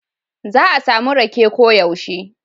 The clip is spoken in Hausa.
Za a samu riƙe koyaushe.